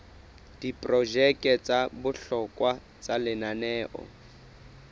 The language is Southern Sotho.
diprojeke tsa bohlokwa tsa lenaneo